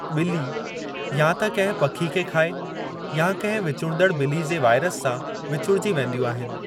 बि॒ली या त किंहिं पखी खे खाए या किंहिं विचुड़ंदड़ बि॒ली जे वायरस सां विचुड़जी वेंदियूं आहिनि।